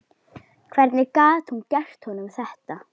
Hvernig gat hún gert honum þetta?